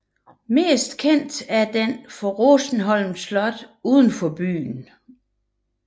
Mest kendt er den for Rosenholm Slot uden for byen